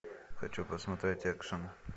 хочу посмотреть экшн